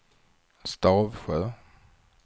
Stavsjö